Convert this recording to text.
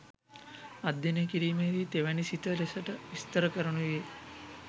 අධ්‍යනය කිරීමේදී තෙවැනි සිත ලෙසට විස්තර කරනුයේ